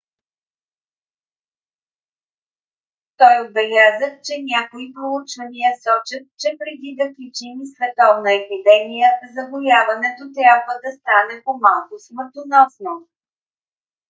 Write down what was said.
той отбеляза че някои проучвания сочат че преди да причини световна епидемия заболяването трябва да стане по-малко смъртоносно